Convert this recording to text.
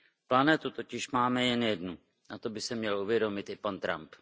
Planetu totiž máme jen jednu a to by si měl uvědomit i pan Trump.